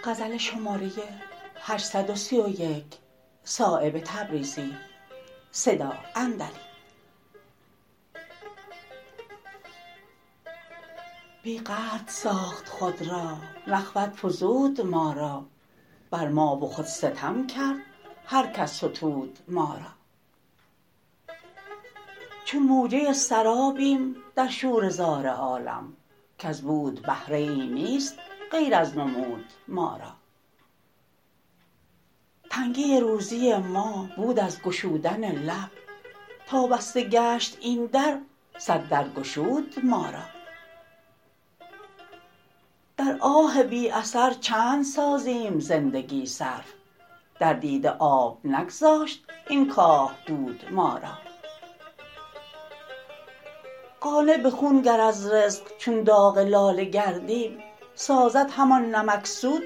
بی قدر ساخت خود را نخوت فزود ما را بر ما و خود ستم کرد هر کس ستود ما را چون موجه سرابیم در شوره زار عالم کز بود بهره ای نیست غیر از نمود ما را تنگی روزی ما بود از گشودن لب تا بسته گشت این در صد در گشود ما را در آه بی اثر چند سازیم زندگی صرف در دیده آب نگذاشت این کاه دود ما را قانع به خون گر از رزق چون داغ لاله گردیم سازد همان نمکسود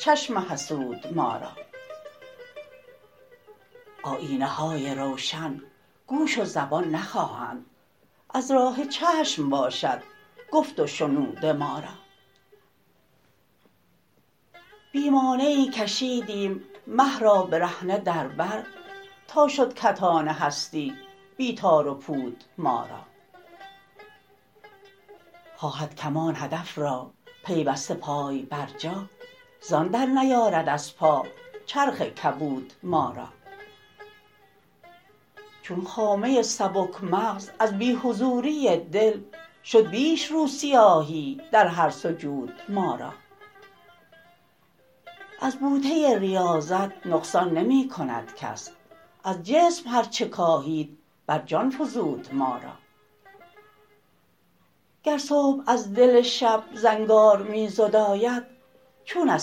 چشم حسود ما را آیینه های روشن گوش و زبان نخواهند از راه چشم باشد گفت و شنود ما را بی مانعی کشیدیم مه را برهنه در بر تا شد کتان هستی بی تار و پود ما را خواهد کمان هدف را پیوسته پای بر جا زان درنیارد از پا چرخ کبود ما را چون خامه سبک مغز از بی حضوری دل شد بیش رو سیاهی در هر سجود ما را از بوته ریاضت نقصان نمی کند کس از جسم هر چه کاهید بر جان فزود ما را گر صبح از دل شب زنگار می زداید چون از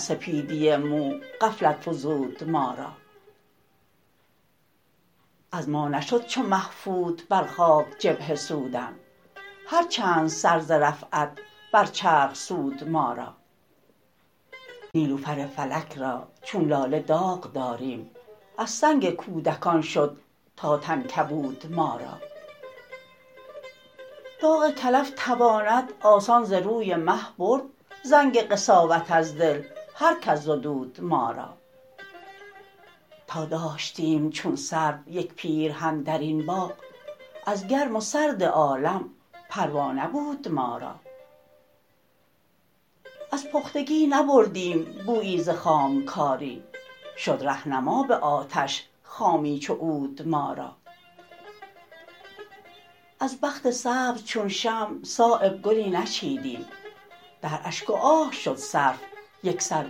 سپیدی مو غفلت فزود ما را از ما نشد چو مه فوت بر خاک جبهه سودن هر چند سر ز رفعت بر چرخ سود ما را نیلوفر فلک را چون لاله داغ داریم از سنگ کودکان شد تا تن کبود ما را داغ کلف تواند آسان ز روی مه برد زنگ قساوت از دل هر کس زدود ما را تا داشتیم چون سرو یک پیرهن درین باغ از گرم و سرد عالم پروا نبود ما را از پختگی نبردیم بویی ز خامکاری شد رهنما به آتش خامی چو عود ما را از بخت سبز چون شمع صایب گلی نچیدیم در اشک و آه شد صرف یکسر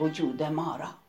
وجود ما را